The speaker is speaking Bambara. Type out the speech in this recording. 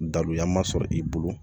Daluya ma sɔrɔ i bolo